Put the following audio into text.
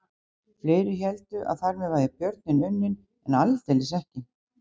Flestir héldu að þar með væri björninn unninn en aldeilis ekki.